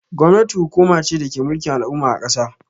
Gwamnati hukuma ce dake mulkin al'umma a kasa.